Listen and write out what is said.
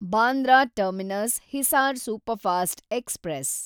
Bandra terminus Hisar superfast express